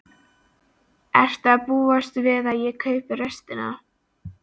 Ertu að búast við að ég kaupi restina?